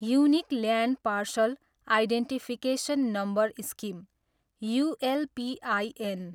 unique land parcel identification number scheme, ULPIN